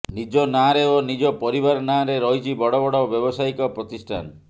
ନିଜ ନାଁରେ ଓ ନିଜ ପରିବାର ନାଁରେ ରହିଛି ବଡ଼ ବଡ଼ ବ୍ୟବସାୟିକ ପ୍ରତିଷ୍ଠାନ